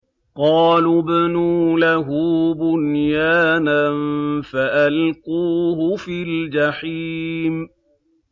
قَالُوا ابْنُوا لَهُ بُنْيَانًا فَأَلْقُوهُ فِي الْجَحِيمِ